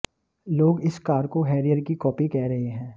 लोग इस कार को हैरियर की कॉपी कह रहे हैं